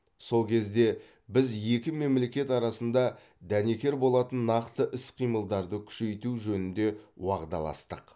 сол кезде біз екі мемлекет арасында дәнекер болатын нақты іс қимылдарды күшейту жөнінде уағдаластық